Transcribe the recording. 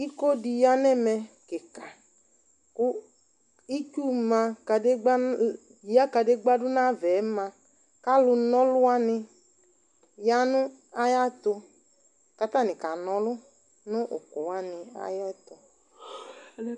Iko dɩ ya nʋ ɛmɛ kɩka kʋ itsu ma kadegbǝ nʋ ya kadekpǝ dʋ nʋ ayava yɛ ma kʋ alʋnaɔlʋ wanɩ ya nʋ ayɛtʋ kʋ atanɩ kana ɔlʋ nʋ ʋkʋ wanɩ ayɛtʋ